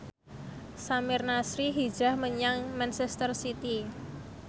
Samir Nasri hijrah menyang manchester city